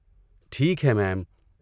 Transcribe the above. ٹھیک ہے میم۔